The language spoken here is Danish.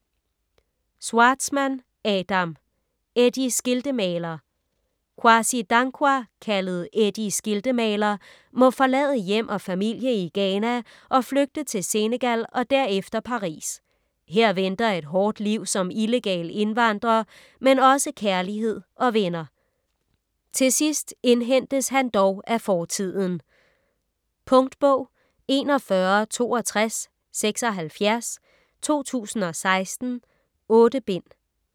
Schwartzman, Adam: Eddie Skiltemaler Kwasi Dankwa, kaldet Eddie Skiltemaler, må forlade hjem og familie i Ghana og flygte til Senegal og derefter Paris. Her venter et hårdt liv som illegal indvandrer, men også kærlighed og venner. Til sidst indhentes han dog af fortiden. Punktbog 416276 2016. 8 bind.